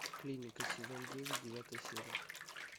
клиника сезон девять девятая серия